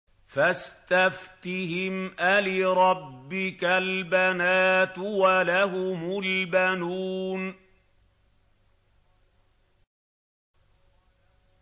فَاسْتَفْتِهِمْ أَلِرَبِّكَ الْبَنَاتُ وَلَهُمُ الْبَنُونَ